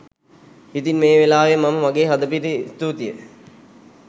ඉතින් මේ වෙලාවේ මම මගේ හදපිරි ස්තූතිය